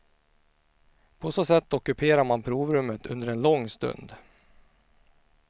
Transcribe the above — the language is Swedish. På så sätt ockuperar man provrummet under en lång stund.